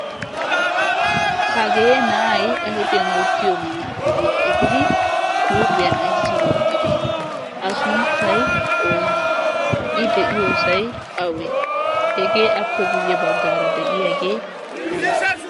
hagee na'ay ayfiyan wottiyo manaaxxidiya efiri kuuphiyan ayssi wottidi a sunttay oonee i de7iyoosay awee hegee appe guyye baggaara de'iyaagee aybe